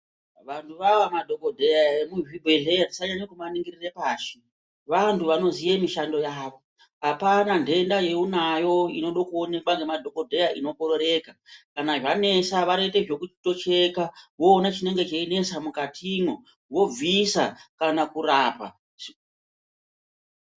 Vantu vaya vemadhokodheya vemuzvibhehleya, tisanyanyokuvaningirire pashi .Vantu vanoziva mishandoyavo .Apana nhenda yaunayo inoda kuonekwa nemadhokodheya inoda kuonekwa ngemadhokodheya inokorereka .Kana zvanesa vanoita zvekucheka voona zvinonesa mukati mwomwo, vobvisa kana kurapa.